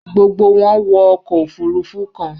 Gbogbo wọn wọ ọkọ ofurufu kan